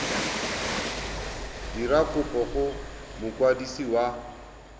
dira kopo go mokwadisi wa